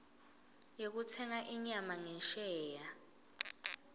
yekutsenga inyama ngesheya